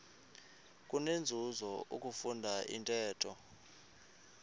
kunenzuzo ukufunda intetho